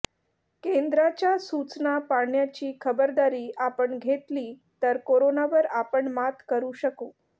केंद्राच्या सूचना पाळण्याची खबरदारी आपण घेतली तर करोनावर आपण मात करू शकू